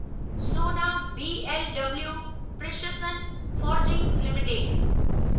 Sona BLW precision forgings limited